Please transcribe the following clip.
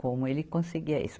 Como ele conseguia isso.